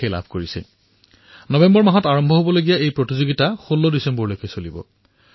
hockey বিশ্বকাপ ২০১৮ নৱেম্বৰৰ পৰা আৰম্ভ হৈ ১৬ ডিচেম্বৰলৈ চলিব